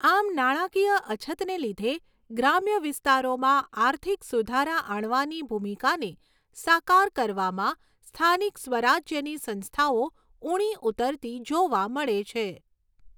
આમ નાણાકીય અછતને લીધે ગ્રામ્ય વિસ્તારોમાં આર્થિક સુધારા આણવાની ભૂમિકાને સાકાર કરવામાં સ્થાનિક સ્વરાજ્યની સંસ્થાઓ ઊણી ઉતરતી જોવા મળે છે.